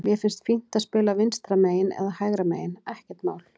Mér finnst fínt að spila vinstra megin eða hægra megin, ekkert mál.